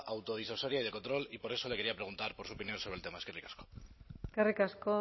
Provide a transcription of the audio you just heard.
autodisuasoria y de control y por eso le quería preguntar por su opinión sobre el tema eskerrik asko eskerrik asko